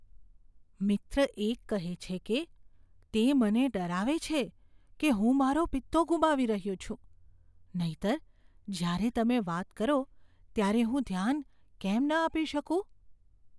મિત્ર એક કહે છે કે, તે મને ડરાવે છે કે હું મારો પિત્તો ગુમાવી રહ્યો છું, નહીંતર, જ્યારે તમે વાત કરો ત્યારે હું ધ્યાન કેમ ન આપી શકું?